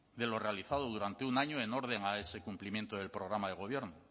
de lo realizado durante un año en orden a ese cumplimiento del programa de gobierno